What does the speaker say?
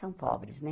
São pobres, né?